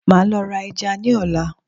maa lo ra eja ni ola